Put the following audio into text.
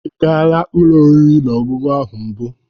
Ị gaala ụlọ oriri na ọṅụṅụ ahụ na mbụ?